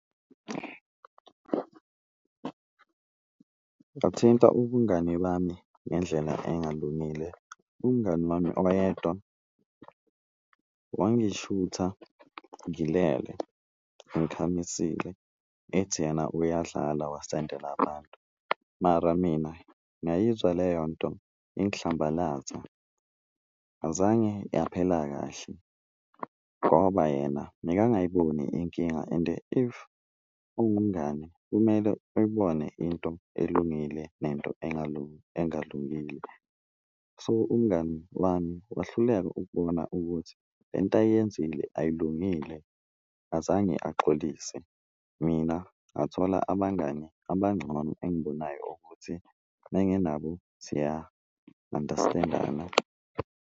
Ngathinta ubungani bami ngendlela engalungile umngani wami oyedwa wangishutha ngilele ngikhamisile ethi yena uyadlala wasendela abantu, mara mina ngayizwa leyonto ingihlambalaza. Azange yaphela kahle ngoba yena mekangayiboni inkinga, ende if uwumngani kumele uyibone into elungile nento engalungile, so umngani wami wahluleka ukubona ukuthi lento ayiyenzile ayilungile azange axolise. Mina ngathola abangani abangcono engibonayo ukuthi uma nginabo siya-understand-ana.